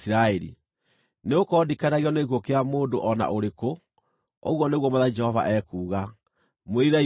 Nĩgũkorwo ndikenagio nĩ gĩkuũ kĩa mũndũ o na ũrĩkũ, ũguo nĩguo Mwathani Jehova ekuuga. Mwĩrirei mũtũũre muoyo!